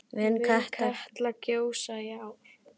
Mun Katla gjósa í ár?